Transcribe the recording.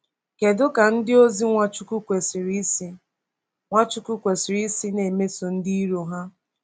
Kedu ka ndịozi Nwachukwu kwesịrị isi Nwachukwu kwesịrị isi na-emeso ndị iro ha?